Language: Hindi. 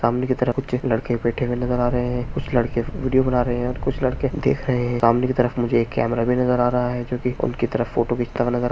सामने की तरफ कुछ लड़के बैठे नजर आ रहे है कुछ लड़के वीडियो बना रहे है और कुछ लड़के देख रहे है सामने की तरफ मुझे एक कैमरा भी नजर आ रहा है जो की उनकी तरफ फोटो घिचता हुआ नजर आ रहा है।